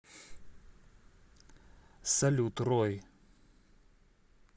салют рой